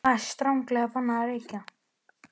ÞAÐ ER STRANGLEGA BANNAÐ AÐ REYKJA!